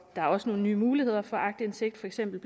der er også nogle nye muligheder for aktindsigt for eksempel